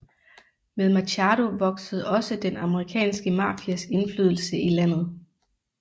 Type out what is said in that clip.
Med Machado voksede også den amerikanske mafias indflydelse i landet